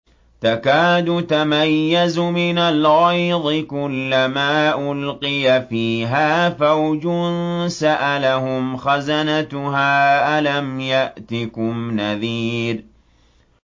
تَكَادُ تَمَيَّزُ مِنَ الْغَيْظِ ۖ كُلَّمَا أُلْقِيَ فِيهَا فَوْجٌ سَأَلَهُمْ خَزَنَتُهَا أَلَمْ يَأْتِكُمْ نَذِيرٌ